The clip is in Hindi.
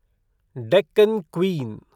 डेक्कन क्वीन